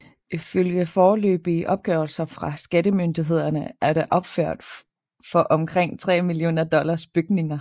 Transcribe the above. Ifølge foreløbige opgørelser fra skattemyndighederne er der opført for omkring 3 millioner dollars bygninger